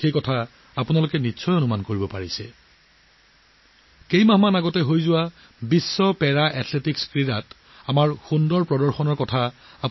আপোনালোকে নিশ্চয় জানে কেইমাহমানৰ আগতে বিশ্ব পেৰা এথলেটিকছ চেম্পিয়নশ্বিপত আমাৰ খেলুৱৈয়ে শ্ৰেষ্ঠ প্ৰদৰ্শন আগবঢ়াইছে